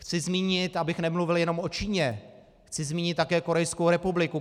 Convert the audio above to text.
Chci zmínit, abych nemluvil jenom o Číně, chci zmínit také Korejskou republiku.